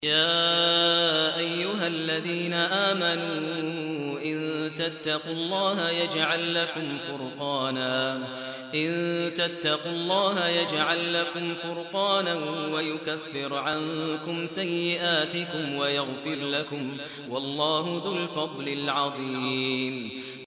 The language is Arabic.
يَا أَيُّهَا الَّذِينَ آمَنُوا إِن تَتَّقُوا اللَّهَ يَجْعَل لَّكُمْ فُرْقَانًا وَيُكَفِّرْ عَنكُمْ سَيِّئَاتِكُمْ وَيَغْفِرْ لَكُمْ ۗ وَاللَّهُ ذُو الْفَضْلِ الْعَظِيمِ